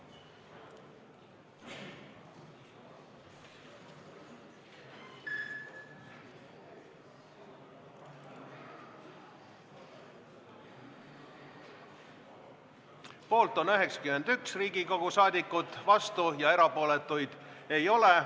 Hääletustulemused Poolt on 91 Riigikogu liiget, vastuolijaid ja erapooletuid ei ole.